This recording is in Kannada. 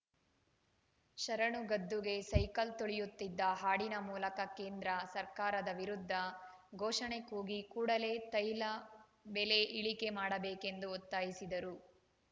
ಶರಣು ಗದ್ದುಗೆ ಸೈಕಲ್‌ ತುಳಿಯುತ್ತ ಹಾಡಿನ ಮೂಲಕ ಕೇಂದ್ರ ಸರ್ಕಾರದ ವಿರುದ್ಧ ಘೋಷಣೆ ಕೂಗಿ ಕೂಡಲೇ ತೈಲ ಬೆಲೆ ಇಳಿಕೆ ಮಾಡಬೇಕು ಎಂದು ಒತ್ತಾಯಿಸಿದರು